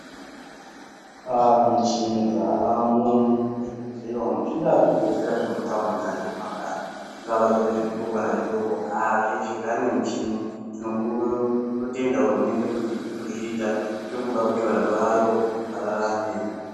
Ah michini dzavamo muzvibhedhleya umu. Zvingaa zvibhedhleya zvemutaundi kana zvemumakanyi, zvingava zviri zvikuru kana zvidoko, haa zveshe zvane muchini. Tinotenda hurumende kuti iri kuzviita. Iri kuda kuti vantu vayo vararame.